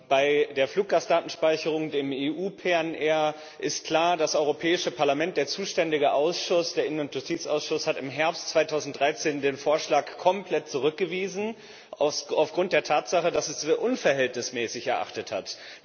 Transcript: Bei der Fluggastdatenspeicherung, dem EU PNR, ist klar Das Europäische Parlament, der zuständige Ausschuss, der Ausschuss für Justiz und Inneres, hat im Herbst 2013 den Vorschlag komplett zurückgewiesen aufgrund der Tatsache, dass er ihn für unverhältnismäßig erachtet hat.